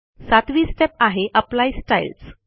7 वी स्टेप आहे apply styles